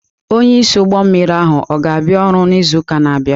Onye isi ụgbọ mmiri ahụ ọ ga-abịa ọrụ n'izu na-abịa?